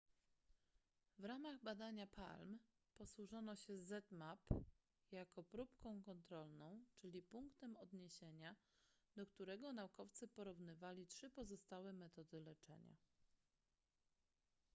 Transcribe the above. w ramach badania palm posłużono się zmapp jako próbką kontrolną czyli punktem odniesienia do którego naukowcy porównywali trzy pozostałe metody leczenia